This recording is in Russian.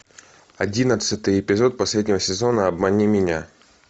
одиннадцатый эпизод последнего сезона обмани меня